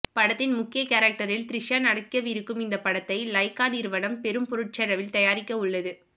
படத்தின் முக்கிய கேரக்டரில் த்ரிஷா நடிக்கவிருக்கும் இந்த படத்தை லைகா நிறுவனம் பெரும் பொருட்செலவில் தயாரிக்கவுள்ளது